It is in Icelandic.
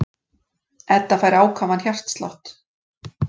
Edda fær ákafan hjartslátt.